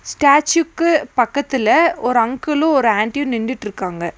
ஸ்டேச்சுக்கு பக்கத்துல ஒரு அங்குளும் ஒரு ஆன்டியு நின்டிட்ருக்காங்க.